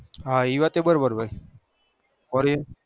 હ એ વાતે બરો બાર ભાઈ